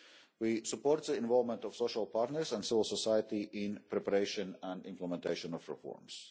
We support the involvement of the social partners and civil society in the preparation and implementation of reforms.